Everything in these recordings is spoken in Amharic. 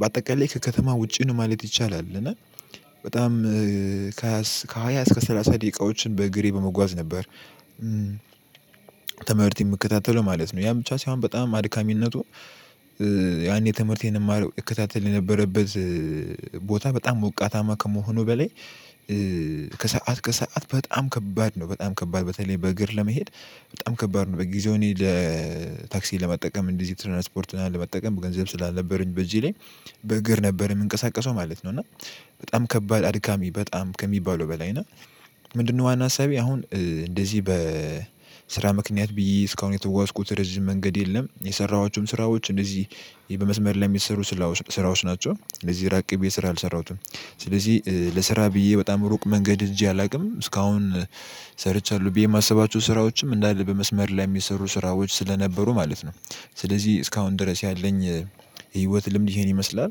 በአጠቃላይ ከከተማ ውጪ ነው ማለት ይቻላል። እና በጣም ከሃያ እስከ ሰላሳ ደቂቃዎችን በእግሬ በመጓዝ ነበር። ትምህርት የምከታተለው ማለት ነው። ያ ብቻ ሳይሆን በጣም አድካሚነቱ ያኔ ትምህርቴን የማረው እከታተል የነበረበት ቦታ በጣም ሞቃታማ ከመሆኑ በላይ ከሰአት በጣም ከባድ ነው። በጣም ከባድ በተለይ በእግር ለመሄድ በጣም ከባድ ነው። በጊዜው እኔ ለታክሲ ለመጠቀም እንደዚህ ትራንስፖርት ለመጠቀም ገንዘብ ስላልነበረኝ በዚህ ላይ በእግር ነበር የምንቀሳቀሰው ማለት ነው። እና በጣም ከባድ አድካሚ በጣም ከሚባለው በላይ ነው። ምንድነው? ዋና አሳቢ አሁን እንደዚህ በስራ ምክንያት ብዬ እስካሁን የተዋስኩት ረጅም መንገድ የለም። የሰራኋቸውም ስራዎች እንደዚህ በመስመር ላይ የሚሰሩ ስራዎች ናቸው። ለዚህ ራቅ ብዬ ስራ አልሰራሁትም። ስለዚህ ለስራ ብዬ በጣም ሩቅ መንገድ እጄ አላውቅም እስካሁን ሰርቻለሁ ብዬ የማስባቸው ስራዎችም እንዳለ በመስመር ላይ የሚሰሩ ስራዎች ስለነበሩ ማለት ነው። ስለዚህ እስካሁን ድረስ ያለኝ ህይወት ልምድ ይሄን ይመስላል።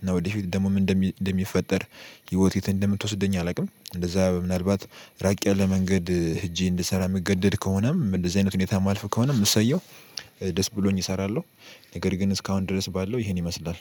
እና ወደፊት ደግሞ እንደም እንደሚፈጠር ህይወት የት እንደምትወስደኝ አላውቅም? እንደዛ ምናልባት ራቅ ያለ መንገድ ሄጄ እንድሰራ የምገደድ ከሆነም እንደዚህ አይነት ሁኔታ ማልፍ ከሆነም እሰየው ደስ ብሎኝ እሰራለሁ። ነገር ግን እስካሁን ድረስ ባለው ይሄን ይመስላል